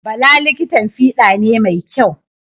Bala likitan fiɗa ne mai kyau.